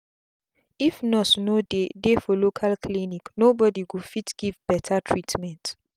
if nurse no dey dey for local clinic no bodi go fit give beta treatment